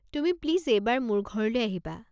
তুমি প্লিজ এইবাৰ মোৰ ঘৰলৈ আহিবা।